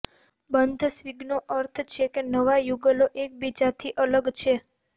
બંધ સ્વિંગનો અર્થ છે કે નવા યુગલો એકબીજાથી અલગ છે